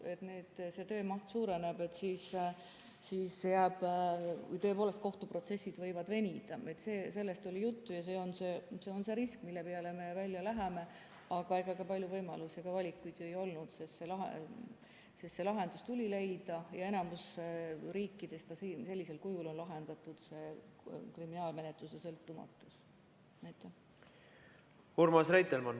Merry Aart, palun!